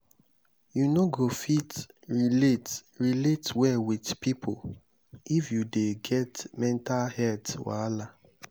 you no go fit relate relate well wit pipo if you dey get mental healt wahala.